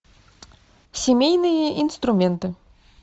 семейные инструменты